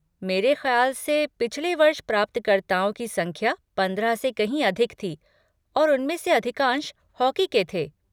मेरे ख़्याल से पिछले वर्ष प्राप्तकर्ताओं की संख्या पंद्रह से कहीं अधिक थी और उनमें से अधिकांश हॉकी के थे।